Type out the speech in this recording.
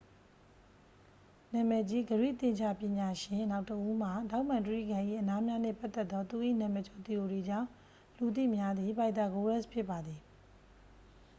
နာမည်ကြီး ဂရိ သင်္ချာပညာရှင်နောက်တစ်ဦးမှာ ထောင့်မှန်တြိဂံ၏ အနားများနှင့် ပတ်သက်သော သူ၏ နာမည်ကျော် သီအိုရီကြောင့် လူသိများသည့် ပိုက်သာဂိုးရပ်စ် ဖြစ်ပါသည်